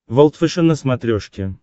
волд фэшен на смотрешке